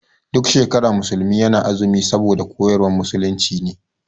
Duk shekara musulmi na azumi saboda koyarwar musulunci ne.